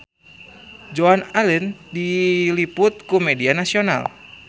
Joan Allen diliput ku media nasional